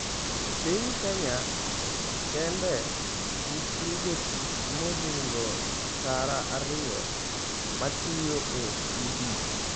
E piny Kenya kende, nitie jotich mohingo tara ariyo matiyo e udi.